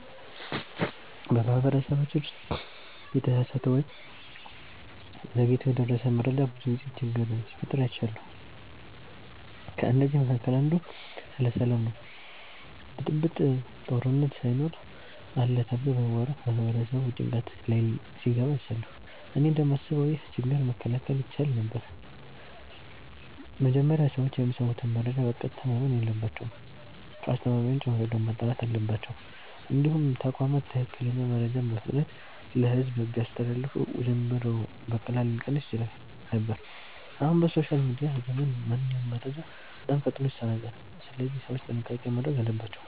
በማህበረሰባችን ውስጥ የተሳሳተ ወይም ዘግይቶ የደረሰ መረጃ ብዙ ጊዜ ችግር ሲፈጥር አይቻለሁ። ከእነዚህ መካከል አንዱ ስለ ሰላም ነው ብጥብጥ፣ ጦርነት ሳይኖር አለ ተብሎ በመወራት ማህበረሰቡ ጭንቀት ላይ ሲገባ አይቻለሁ። እኔ እንደማስበው ይህ ችግር መከላከል ይቻል ነበር። መጀመሪያ ሰዎች የሚሰሙትን መረጃ በቀጥታ ማመን የለባቸውም። ከአስተማማኝ ምንጭ መረጃውን ማጣራት አለባቸው። እንዲሁም ተቋማት ትክክለኛ መረጃን በፍጥነት ለሕዝብ ቢያስተላልፉ ውዥንብሩ በቀላሉ ሊቀንስ ይችል ነበር። አሁን በሶሻል ሚዲያ ዘመን ማንኛውም መረጃ በጣም ፈጥኖ ይሰራጫል፣ ስለዚህ ሰዎች ጥንቃቄ ማድረግ አለባቸው።